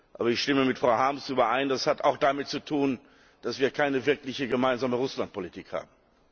Aber ich stimme mit Frau Harms überein Das hat auch damit zu tun, dass wir keine wirkliche gemeinsame Russland Politik haben.